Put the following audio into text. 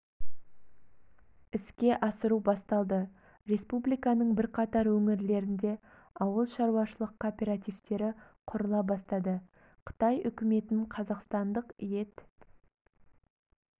іске асыру басталды республиканың бірқатар өңірлерінде ауыл шаруашылық кооперативтері құрыла бастады қытай үкіметіһ қазақстандық ет